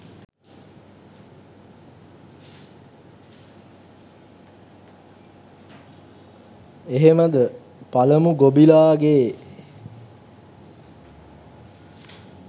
එහෙමද " පලමු ගොබිලාගේ